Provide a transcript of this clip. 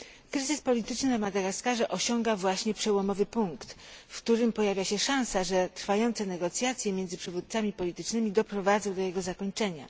Kryzys polityczny na Madagaskarze osiąga właśnie przełomowy punkt, w którym pojawia się szansa, że trwające negocjacje między przywódcami politycznymi doprowadzą do jego zakończenia.